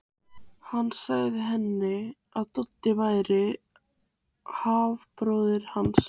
Hann sagði henni að Doddi væri hálfbróðir hans.